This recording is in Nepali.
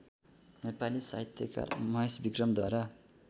नेपाली साहित्यकार महेशविक्रमद्वारा